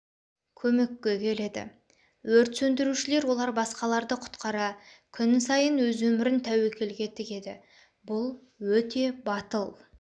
көмекке келеді өрт сөндірушілер олар басқаларды құтқара күн сайын өз өмірін тәуекелге тігеді бұл-өте батыл